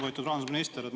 Lugupeetud rahandusminister!